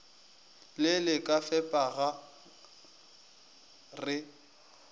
le le ka fepega re